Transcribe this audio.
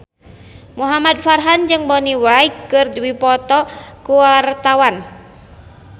Muhamad Farhan jeung Bonnie Wright keur dipoto ku wartawan